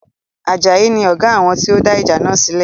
Ajayi ni Ọ̀gá àwọn tí ó dá ìjà náà sílẹ̀